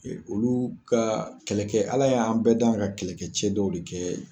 E olu ka kɛlɛkɛ , ala y'an bɛɛ da ka kɛlɛkɛcɛ dɔw de kɛ